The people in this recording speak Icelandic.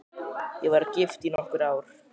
Ég var gift í nokkur ár.